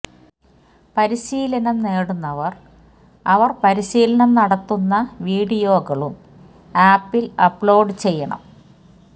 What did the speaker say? പരിശീലനം നേടുന്നവര് അവർ പരീശിലനം നടത്തുന്ന വീഡിയോകളും ആപ്പിൽ അപ്ലോഡ് ചെയ്യണം